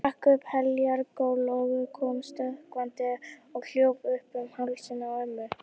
Hann rak upp heljar gól og kom stökkvandi og hljóp upp um hálsinn á ömmu.